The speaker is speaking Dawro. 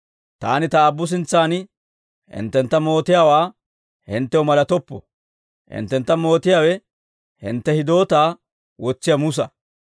«Taani Ta Aabbu sintsan hinttentta mootiyaawaa hinttew malatoppo; hinttentta mootiyaawe, hintte hidootaa wotsiyaa Musa.